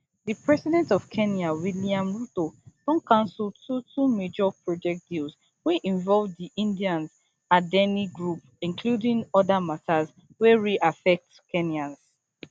di president of kenya william ruto don cancel two two major project deals wey involve di indian adani group including oda matters wery affect kenyans